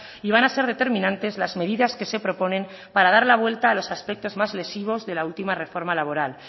y van a ser determinantes las medidas que se proponen para dar la vuelta a los aspectos más lesivos de la última reforma laboral